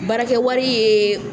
Baara kɛ wari ye